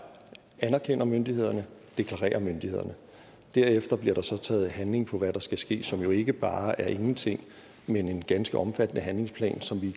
anerkender myndighederne deklarerer myndighederne derefter bliver der så taget handling på hvad der skal ske som jo ikke bare er ingenting men en ganske omfattende handlingsplan som vi